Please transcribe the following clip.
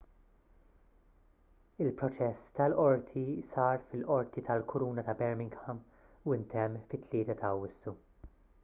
il-proċess tal-qorti sar fil-qorti tal-kuruna ta' birmingham u ntemm fit-3 ta' awwissu